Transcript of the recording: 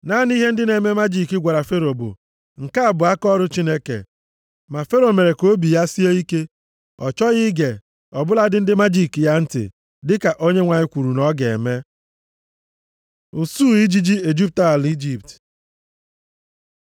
Naanị ihe ndị na-eme majiki gwara Fero bụ, “Nke a bụ akaọrụ Chineke.” Ma Fero mere ka obi ya sie ike. Ọ chọghị ige, ọ bụladị ndị majiki ya ntị, dịka Onyenwe anyị kwuru na ọ ga-eme. Usuu ijiji ejupụta ala Ijipt